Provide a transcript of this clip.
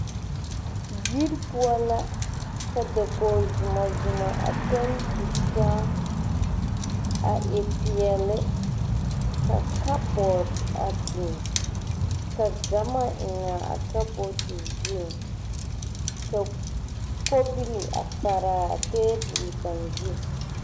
Yiri poɔ la ka da kogi somɔmɔ a toŋ tu taa a e peɛle ka kaboard a biŋ ka gama eŋ a ka board te zu ka kobilii paraa a tabol kaŋ zu.